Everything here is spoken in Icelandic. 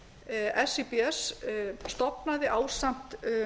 um ætlað samþykki síbs stofnaði ásamt